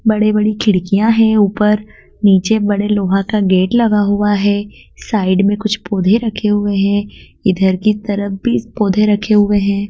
बड़े बड़ी खिड़कियाँ हैं ऊपर नीचे बड़े लोहा का गेट लगा हुआ है साइड में कुछ पौधे रखे हुए हैं इधर की तरफ भी पौधे रखे हुए हैं।